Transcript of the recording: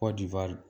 Kɔdiwari